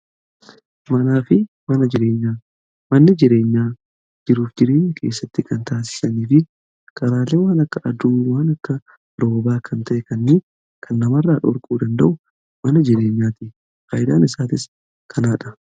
Manaafi manni jireenyaa jiruuf jirienya keessatti kan taasisanii fi karaalee waan akka aduu waan akka roobaa kan ta'e kanni kan namarra dhorkuu danda'u mana jireenyaati. Faayidaan isaatis kanaadha.